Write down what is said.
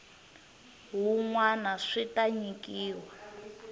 wun wana swi ta nyikiwa